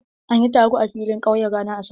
An yi taro a filin ƙauye ranar Asabar?